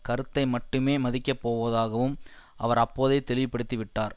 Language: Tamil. கருத்தை மட்டுமே மதிக்கப் போவதாகவும் அவர் அப்போதே தெளிவுபடுத்தி விட்டார்